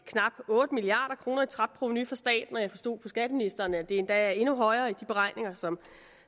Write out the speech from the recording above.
knap otte milliard kroner i tabt provenu for staten og jeg forstod på skatteministeren at det endda er endnu højere i de beregninger som